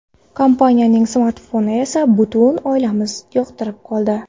Kompaniyaning smartfonini esa butun oilamiz yoqtirib qoldi.